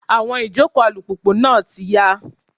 Awọ ìjòkó alùpùpù náà ti yá.